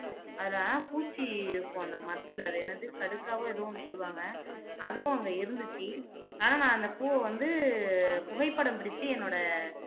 அதுல ஆனா பூச்சி இருக்கும் அந்த மரத்துல அது என்னது கடுக்காவோ ஏதோ ஒண்ணு சொல்லுவாங்க அதுவும் அங்க இருந்துச்சு ஆனா நான் அந்த பூவை வந்து புகைப்படம் பிடிச்சு என்னோட